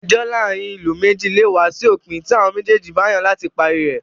Ẹjọ́ láàárin ará ìlú méjì lè wá sí òpin tí àwọn méjèèjì bá yàn láti parí rẹ̀.